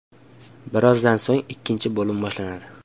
Birozdan so‘ng ikkinchi bo‘lim boshlanadi.